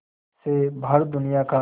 से भारत दुनिया का